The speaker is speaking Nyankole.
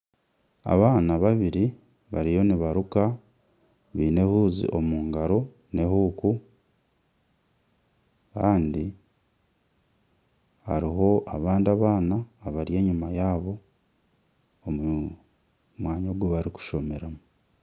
Abaana babiri bariyo nibaruka baine ehuuzi omu ngaro na huuku kandi hariho abandi abaana abari enyima yaabo omu mwanya ogu barikushomeramu.